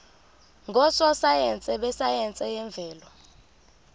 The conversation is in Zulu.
ngososayense besayense yemvelo